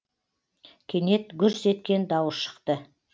кенет гүрс еткен дауыс шықты